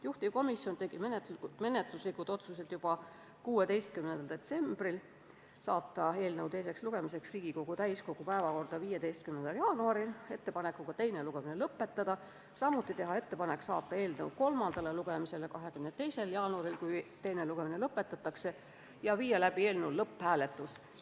Juhtivkomisjon tegi menetluslikud otsused juba 16. detsembril: saata eelnõu teiseks lugemiseks Riigikogu täiskogu päevakorda 15. jaanuariks ja teha ettepanek teine lugemine lõpetada; teha ettepanek saata eelnõu kolmandale lugemisele 22. jaanuariks, juhul kui teine lugemine lõpetatakse, ja viia läbi eelnõu lõpphääletus.